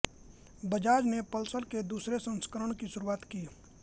बजाज ने पल्सर के दूसरे संस्करण की शुरुआत की